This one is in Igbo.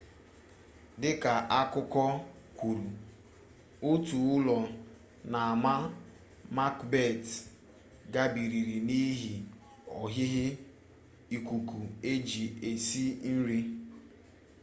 dị ka akụkọ kwuru otu ụlọ n'ama makbet gbariri n'ihi ohihi ikuku eji esi nri